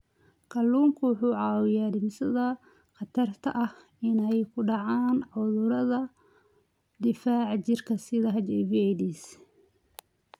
Kalluunku wuxuu caawiyaa dhimista khatarta ah inay ku dhacaan cudurrada difaaca jirka sida HIV/AIDS.